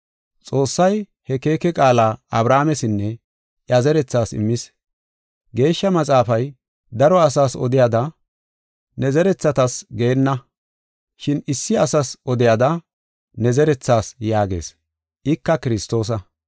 Xoossay he keeke qaala Abrahaamesinne iya zerethaas immis. Geeshsha Maxaafay, daro asas odiyada, “Ne zerethatas” geenna. Shin issi asas odiyada, “Ne zerethaas” yaagees; ika Kiristoosa.